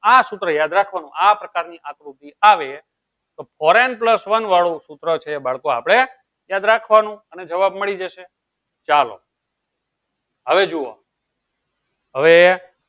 આ સુત્ર યાદ રાખવાનો આ પ્રકાર ની આકૃતિ આવે તો ફોરેન પ્લસ વન વાળું સુત્ર છે એ બાળકો આપળે યાદ રાખવાનું અને જવાબ મળી જશે ચાલો હવે જુવો હવે